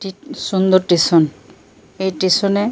একটি সুন্দর স্টেশন । এই স্টেশন এ --